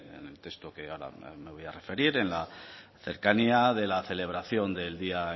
en el texto que ahora me voy a referir en la cercanía de la celebración del día